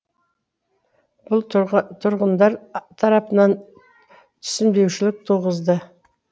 бұл тұрғындар тарапынан түсінбеушілік туғызды